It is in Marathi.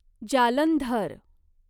जालंधर